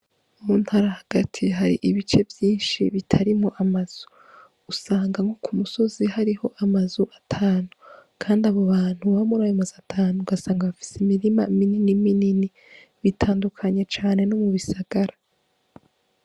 Mu ntara hagati hari ibice vyinshi bitarimwo amazu usanga nko ku musozi hariho amazu atanu kandi abo abantu baba muri ayo mazu atanu ugasanga bafise imirima minini minini bitandukanye cane no mu bisagara.